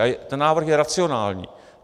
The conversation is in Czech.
A ten návrh je racionální.